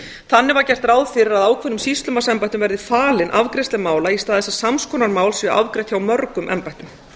þannig var gert ráð fyrir að ákveðnum sýslumannsembættum verði falin afgreiðsla mála í stað þess að sams konar mál séu afgreidd hjá mörgum embættum